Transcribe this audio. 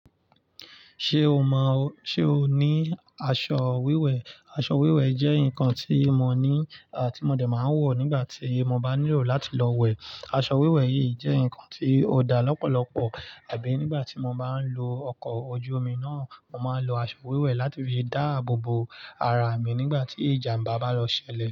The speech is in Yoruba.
Ṣé o mọ, ṣe o ní aṣọ wíwẹ̀? Aṣọ wíwẹ̀ jẹ́ nǹkan tí mo ní, tí mo dè máa ń wọ̀ nígbà tí mo bá nílò láti lọ wẹ̀. Aṣọ wíwẹ̀ yìí jẹ́ nǹkan tí ó dá lọ́pọ̀lọpọ̀. Àbí nígbà tí mo bá ń lo ọkọ̀ ojú omi náà, mo máa ń lo aṣọ wíwẹ̀ láti fi dáàbòbo ara mi nígbà tí ìjàmbá bá lọ ṣẹlẹ̀